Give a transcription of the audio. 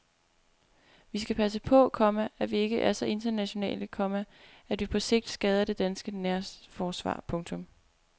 Vi skal passe på, komma at vi ikke er så internationale, komma at vi på sigt skader det danske nærforsvar. punktum